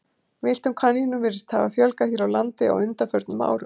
Villtum kanínum virðist hafa fjölgað hér á landi á undanförnum árum.